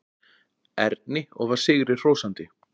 Erni og var sigri hrósandi.